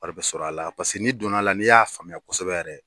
Wari bɛ sɔrɔ a la paseke ni donna la n'i y'a faamuya kosɛbɛ yɛrɛ.